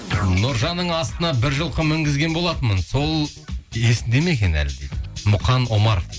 нұржанның астына бір жылқы мінгізген болатынмын сол есінде ме екен әлі дейді мұқан омаров